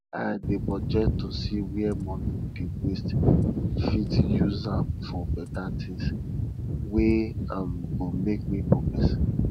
i dey budget to see where money dey waste fit use am for better tins wey um go make me progress